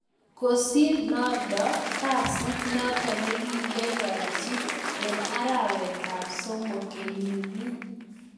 Kosir nondo kesiit notok nekikiyatchii eng arawet ap somok kenyinii